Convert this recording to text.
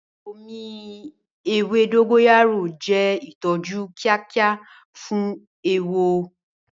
Omi ewé dogoyaro jẹ́ ìtọ́jú kíákíá fún eéwo.